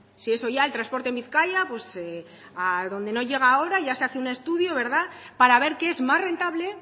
si eso ya el transporte en bizkaia a donde no llega ahora ya se hace un estudio verdad para ver qué es más rentable